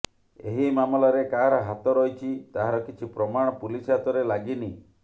ଏହି ମାମଲାରେ କାହାର ହାତ ରହିଛି ତାହାର କିଛି ପ୍ରମାଣ ପୁଲିସ ହାତରେ ଲାଗିନି